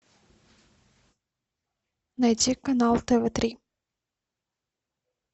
найти канал тв три